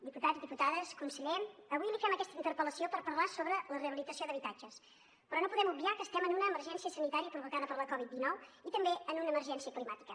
diputats diputades conseller avui li fem aquesta interpel·lació per parlar sobre la rehabilitació d’habitatges però no podem obviar que estem en una emergència sanitària provocada per la covid dinou i també en una emergència climàtica